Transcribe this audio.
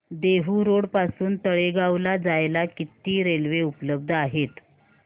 Dehu road पासून तळेगाव ला जायला किती रेल्वे उपलब्ध आहेत